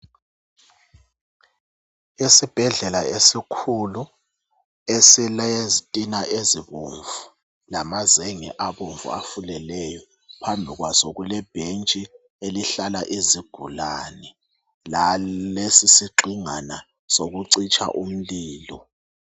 Isibhedlela esikhulu esilezitina ezibomvu lamazenge abomvu afuleleyo. Phambi kwaso kulebhentshi elihlala izigulane, lalesi sigxingwana sokucitsha umlilo.